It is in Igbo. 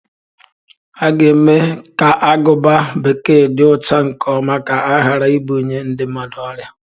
A ga mee ka aguba bekee di ocha nke ọma ka ghara ibunye ndi mmadụ ọrịa.